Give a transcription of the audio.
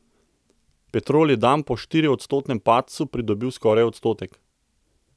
Petrol je dan po štiriodstotnem padcu pridobil skoraj odstotek.